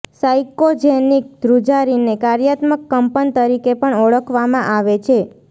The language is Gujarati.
સાયકોજેનિક ધ્રુજારીને કાર્યાત્મક કંપન તરીકે પણ ઓળખવામાં આવે છે